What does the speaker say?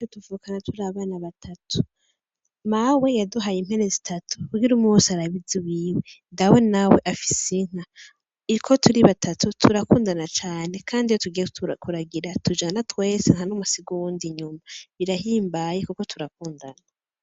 Tuvukana turi abana batatu mawe yaduhaye impene zitatu kugire umwe wese arabe iziwiwe dawe nawe afise inka, uko turi batatu turakundana cane kandi iyo tugiye kuragira tujana twese ntanumwe asiga uwundi inyuma birahimbaye kuko turakundana.